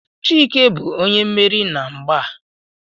Chike bu onye mmeri na mgba a